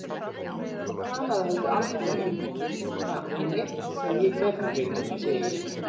Og talaðu heldur aldrei um það við neinn sem ég gerði Vilhjálmur, segi ég.